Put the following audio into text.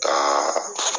Ka